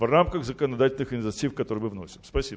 в рамках законодательных инициатив которые мы вносим спасибо